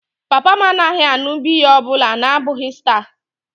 Papa m anaghị aṅụ biya ọ bụla na-abụghị Star.